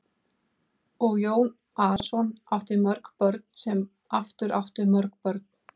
Og Jón Arason átti mörg börn sem aftur áttu mörg börn.